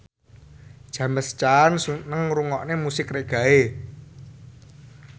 James Caan seneng ngrungokne musik reggae